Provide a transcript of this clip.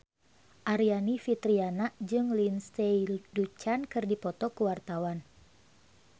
Aryani Fitriana jeung Lindsay Ducan keur dipoto ku wartawan